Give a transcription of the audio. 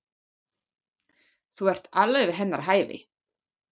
Þú ert alveg við hennar hæfi.